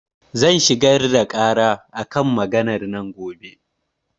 Zan shigar da ƙara a kan maganar nan gobe.